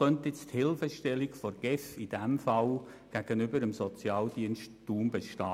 Welche Hilfestellung könnte die GEF in diesem Fall dem Sozialdienst Thun geben?